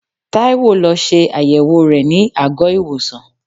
Taiwo lọ ṣe àyẹ̀wò rẹ ní àgọ́-ìwòsàn.